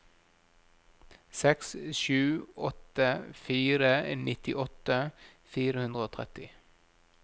seks sju åtte fire nittiåtte fire hundre og tretti